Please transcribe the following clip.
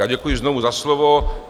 Já děkuji znovu za slovo.